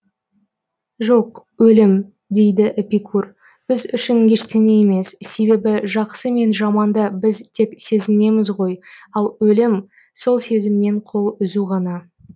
жоқ өлім дейді эпикур біз үшін ештеңе емес себебі жақсы мен жаманды біз тек сезінеміз ғой ал өлім сол сезімнен қол үзу ғана